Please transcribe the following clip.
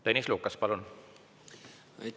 Tõnis Lukas, palun!